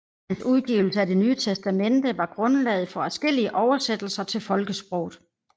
Hans udgivelse af Det Nye Testamente var grundlaget for adskillige oversættelser til folkesproget